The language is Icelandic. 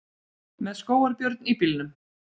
Með skógarbjörn í bílnum